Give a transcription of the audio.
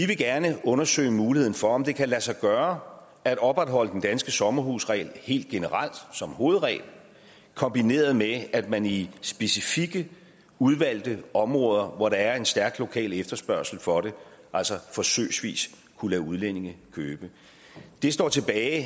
vi gerne vil undersøge muligheden for om det kan lade sig gøre at opretholde den danske sommerhusregel helt generelt som hovedregel kombineret med at man i specifikke udvalgte områder hvor der er en stærk lokal efterspørgsel for det altså forsøgsvis kunne lade udlændinge købe det står tilbage